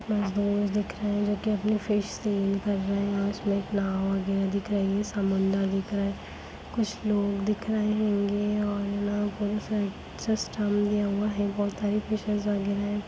कुछ दोस्त दिख रहे है उसमें जो फिश सेल कर रहे है नाव वगैरह दिखाई दे रही है समुंदर दिखाई दे रहा है कुछ लोग दिखा रहे होंगे बहुत सारी उन बहुत सारी फिशेज वगैरह है।